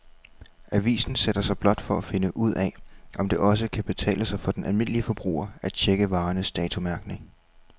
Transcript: Avisen sætter sig blot for at finde ud af, om det også kan betale sig for den almindelige forbruger at checke varernes datomærkning.